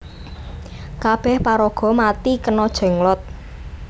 Kabeh paraga mati kena Jenglot